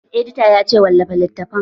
Editan ya ce 'Wallafa littatafan'!